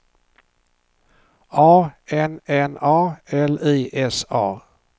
A N N A L I S A